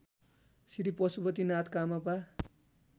Shri Pashupatinath कामपा